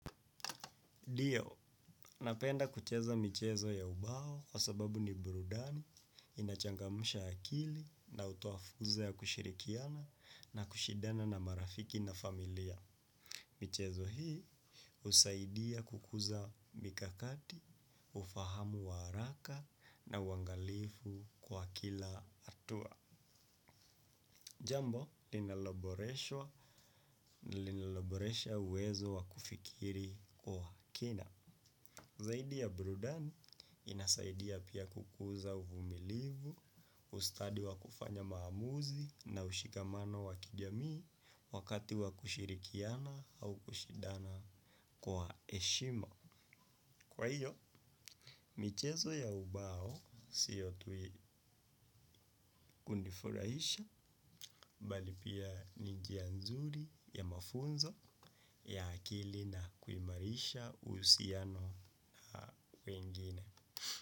Dio, napenda kucheza michezo ya ubao kwa sababu ni brudani inachangamusha akili na utuo furza ya kushirikiana na kushidana na marafiki na familia. Michezo hii husaidia kukuza mikakati ufahamu wa haraka na uhangalifu kwa kila hatua jambo, linaloboresha uwezo wa kufikiri kwa kina. Zaidi ya burudani inasaidia pia kukuza uvumilivu, ustadi wa kufanya maamuzi na ushikamano wa kijamii wakati wa kushirikiana au kushidana kwa eshima. Kwa hiyo, michezo ya ubao siyo tui kunifurahisha bali pia njianzuri ya mafunzo ya akili na kuimarisha usiano wengine.